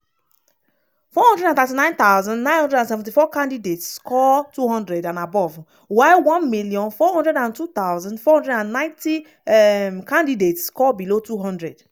439974 candidates score 200 and above while 1402490 um candidates score below 200.